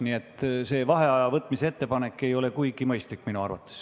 Nii et see vaheaja võtmise ettepanek ei ole minu arvates kuigi mõistlik.